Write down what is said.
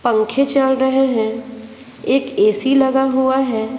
पंखे चल रहे हैं एक एसी लगा हुआ है।